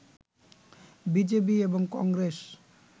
BJP এবং কংগেস